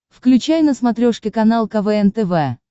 включай на смотрешке канал квн тв